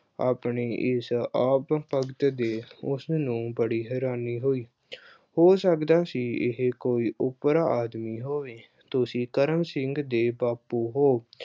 ਆਪਣੇ ਇਸ ਆਓ-ਭਗਤ ਤੇ ਉਸਨੂੰ ਬੜੀ ਹੈਰਾਨੀ ਹੋਈ। ਅਹ ਹੋ ਸਕਦਾ ਸੀ ਇਹੇ ਕੋਈ ਓਪਰਾ ਆਦਮੀ ਹੋਵੇ। ਤੁਸੀਂ ਕਰਮ ਸਿੰਘ ਦੇ ਬਾਪੂ ਹੋ?